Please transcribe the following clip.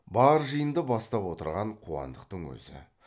бар жиынды бастап отырған қуандықтың өзі